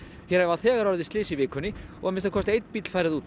hér hafa þegar orðið slys í vikunni og að minnsta kosti einn bíll farið út